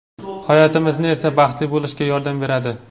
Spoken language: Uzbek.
hayotimizni esa baxtli bo‘lishiga yordam beradi.